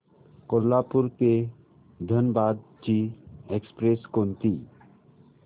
कोल्हापूर ते धनबाद ची एक्स्प्रेस कोणती